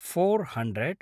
four hundred